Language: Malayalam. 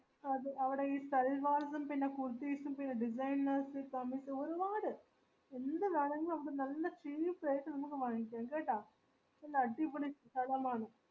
അതെ അവിടെ ഈ സലവർസ് പിന്നെ കുർത്തീസ് പിന്നെ designers ഒരുപാട് എന്തു വേണെങ്കിലു നല്ല cheep rate നമക് വാങ്ങിക്കാം കേട്ട